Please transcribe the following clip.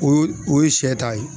O o ye sɛ ta ye